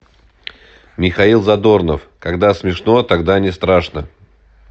михаил задорнов когда смешно тогда не страшно